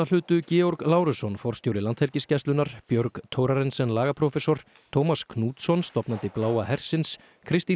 hlutu Georg Lárusson forstjóri Landhelgisgæslunnar Björg Thorarensen lagaprófessor Tómas Knútsson stofnandi Bláa hersins Kristín